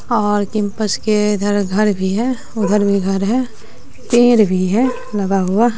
और कैंपस के इधर घर भी है उधर भी घर है पेड़ भी है लगा हुआ।